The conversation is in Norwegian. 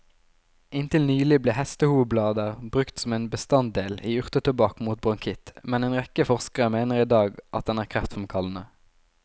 Inntil nylig ble hestehovblader brukt som en bestanddel i urtetobakk mot bronkitt, men en rekke forskere mener i dag at den er kreftfremkallende.